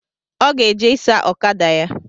Ọ ga-eje ịsa okada ya